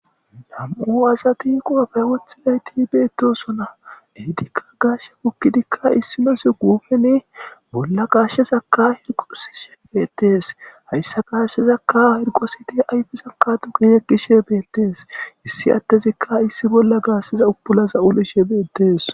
Nam''u asati qoppe woththidayitti betosona.ettikka gashshe bukkiddikka issinozzi gufenni bolla gashezakka heriqonthishe betees.hayissa gadhshezakka hiriqosoddi ayifezakka duge yegeshi betees issi adezikka utulazza issi bolla yegishshe betees.